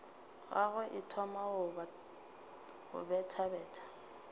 gagwe e thoma go bethabetha